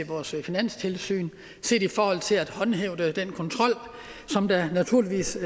vores finanstilsyn til at håndhæve den kontrol der naturligvis